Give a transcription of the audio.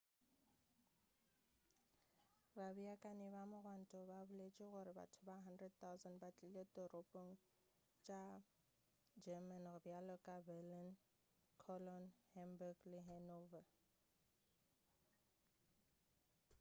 babeakanyi ba mogwanto ba boletše gore batho ba 100,000 ba tlile ditoropong tša german bjalo ka berlin cologne hamburg le hanover